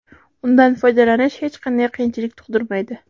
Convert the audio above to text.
Undan foydalanish hech qanday qiyinchilik tug‘dirmaydi.